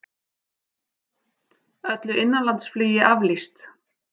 Öllu innanlandsflugi aflýst